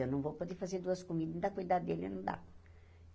Eu não vou poder fazer duas comidas, ainda cuidado dele, não dá.